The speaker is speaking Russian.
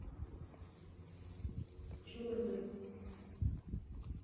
черной